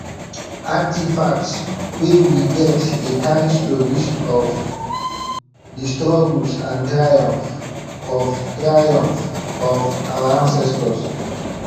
artifacts wey we get dey carry stories of di struggles and triumphs of triumphs of our ancestors